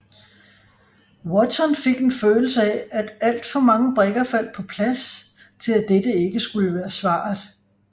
Watson fik en følelse af at alt for mange brikker faldt på plads til at dette ikke skulle være svaret